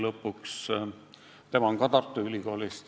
Tema on ka Tartu Ülikoolist.